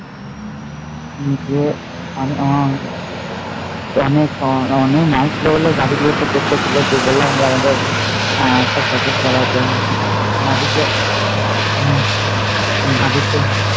তবে আমার আমার মা এসেছিলো বলে যা কিছু আর না দেখলে